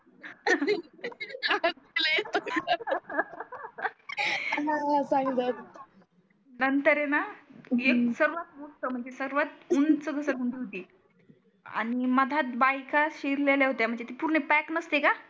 नंतर आहे णा एक सर्वात मोठ हम्म सर्वात उंच घसरगुंडी होती आणि मधात बायका सीरलेल्या होत्या म्हणजे ते पूर्ण पॅक नसते का